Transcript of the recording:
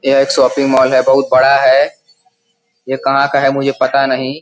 ये एक shopping mall है बहुत बड़ा है ये कहां का है मुझे पता नहीं।